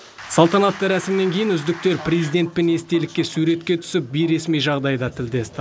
салтанатты рәсімнен кейін үздіктер президентпен естелікке суретке түсіп бейресми жағдайда тілдесті